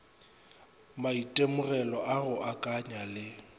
maitemogelo a go akanya le